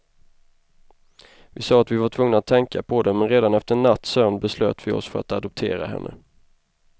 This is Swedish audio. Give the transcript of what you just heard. Vi sa att vi var tvungna att tänka på det, men redan efter en natts sömn beslöt vi oss för att adoptera henne.